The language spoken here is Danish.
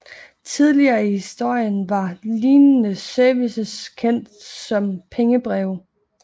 Tidligere i historien var lignende services kendt som pengebreve